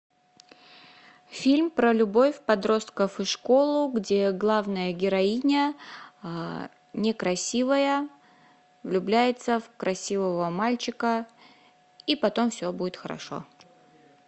фильм про любовь подростков и школу где главная героиня некрасивая влюбляется в красивого мальчика и потом все будет хорошо